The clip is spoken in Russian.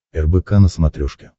рбк на смотрешке